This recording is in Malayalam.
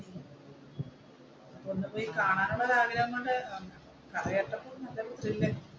കാണാനുള്ള ആഗ്രഹം കൊണ്ട് കഥ കേട്ടപ്പോൾ നല്ലൊരു ത്രിൽ ആയി,